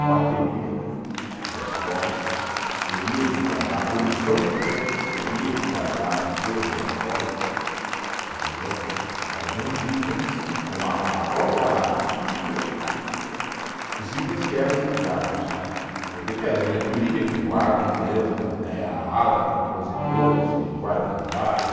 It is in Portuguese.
Bateria da escola teria que guardar, a comissão de frente teria que guardar as cores da escola, entendeu? Alguns itens, como a a, a própria, os itens que eram julgados, né, porque tem a diretoria que guarda mesmo, tem a ala de compositores que guarda e não guarda,